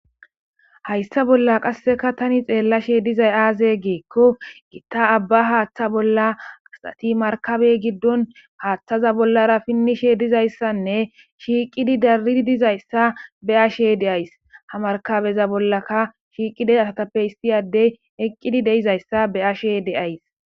Hayssa bolla qasseka tani xeellashe dizay aaze geekko gitta abba haaththa bolla qaxati markabey giddon haaththaza bollara pinnishe dizayssanne shiiqidi darii dizayssa be ashe de'ays ha markabeza bollaka shiiqide asatappe histiyadey eqqidi deizayssa be ashe deays.